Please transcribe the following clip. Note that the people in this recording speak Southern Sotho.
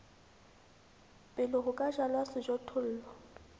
pele ho ka jalwa sejothollo